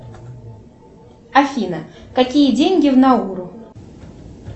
афина какие деньги в науру